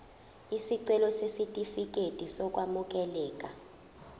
isicelo sesitifikedi sokwamukeleka